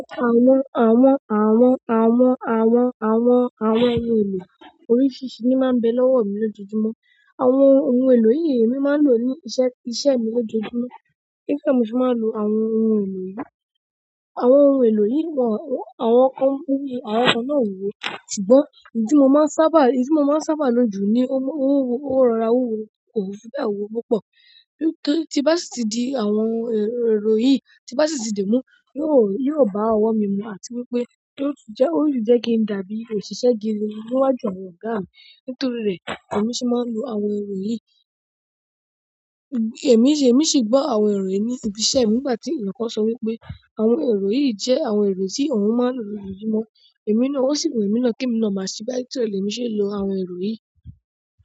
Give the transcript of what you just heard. Àwọn, àwọn, àwọn, àwọn, àwọn, àwọn, àwọn ohun èlò oríṣìríṣìí ni máa ń bẹ lọ́wọ́ mi lójoojúmọ́. Àwọn ohun èlò yìí emi máa ń lò ní iṣẹ́, iṣẹ́ mi lójoojúmọ́. Nítorí e mo se máa ń lo àwọn ohun èlò yìí, àwọn ohun èlò yìí mọ̀, àwọn kan ku ni àwọn kan náà o ye ṣùgbọ́n ohun tí mo máa ń sábà, èyí tí mo máa ń sábà lò jù ni ó rọra, wuwo ko fi bẹ́ẹ̀ wuwo púpọ̀. Tí bá sì ti di àwọn ohun èrò yìí, tí bá sì ti dimu, yóò, yóò bá ọwọ́ mi mu àti wípé yóò tun jẹ́, yóò tun jẹ́ kí n dàbí òṣìṣẹ́ gidi níwájú àwọn ọ̀gáa mi. Nítorí rẹ̀, èmi sì máa ń lo àwọn èrò yìí. Èmi sì, èmi sì gbọ́ àwọn èrò yìí ní ibi iṣẹ́ nígbà tí èyàn kan sọ wípé àwọn èrò yìí jẹ́ àwọn èrò tí òun máa ń lò lójoojúmọ́. Èmi náà, ó sì wu èmi náà kí èmi náà máa ṣí be nítorí e lè mi ṣe n lò àwọn èrò yìí.